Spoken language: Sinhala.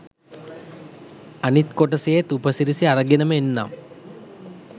අනිත් කොටසේත් උපසිරසි අරගෙනම එන්නම්